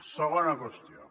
segona qüestió